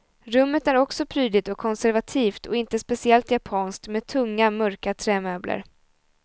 Rummet är också prydligt och konservativt och inte speciellt japanskt med tunga mörka trämöbler.